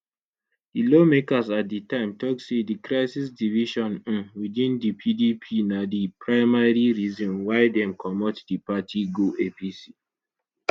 di lawmakers at di time tok say di crisis division um within di pdp na di primary reason why dem comot di party go apc